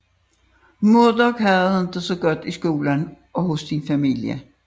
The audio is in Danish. Murdoc havde det ikke så godt i skolen og hos sin familie